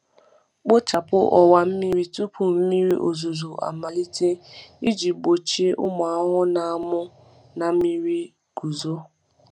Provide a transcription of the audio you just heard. Kpochapụ ọwa mmiri tupu mmiri ozuzo amalite iji gbochie ụmụ ahụhụ na-amụ na mmiri guzo.